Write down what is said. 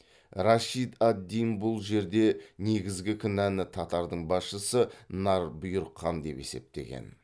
рашид ад дин бұл жерде негізгі кінәны татардың басшысы нар бұйрық хан деп есептеген